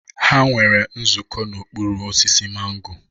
Ha nwere nzukọ n'okpuru osisi mango.